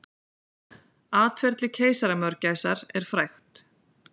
Atferli keisaramörgæsar er frægt.